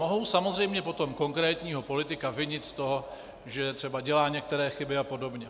Mohou samozřejmě potom konkrétního politika vinit z toho, že třeba dělá některé chyby a podobně.